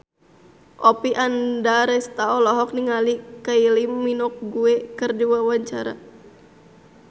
Oppie Andaresta olohok ningali Kylie Minogue keur diwawancara